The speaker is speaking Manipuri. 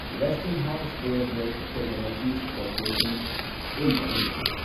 Westinghouse air brake technologies corporation India limited